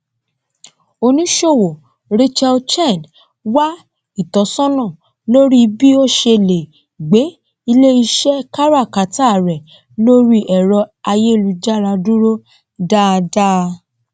oníṣòwò rachel chen wá ìtọsọnà lórí bí ó ṣe lè gbé iléiṣẹ káràkátà rẹ lórí ẹrọ ayélujára dúró dâdá